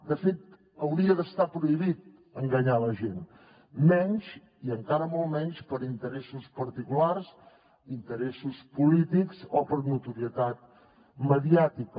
de fet hauria d’estar prohibit enganyar la gent i encara molt menys per interessos particulars interessos polítics o per notorietat mediàtica